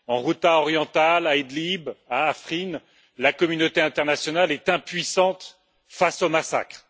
Dans la Ghouta orientale, à Idlib, à Afrin, la communauté internationale est impuissante face aux massacres.